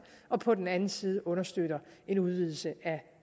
og på den anden side understøtter en udvidelse af